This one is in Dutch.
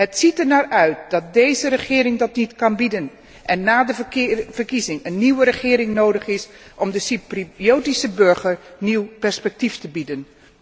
Het ziet ernaar uit dat deze regering dat niet kan bieden en na de verkiezing een nieuwe regering nodig is om de Cypriotische burger nieuw perspectief te bieden.